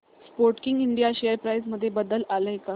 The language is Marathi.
स्पोर्टकिंग इंडिया शेअर प्राइस मध्ये बदल आलाय का